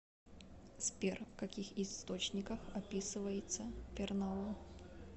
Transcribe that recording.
сбер в каких источниках описывается пернау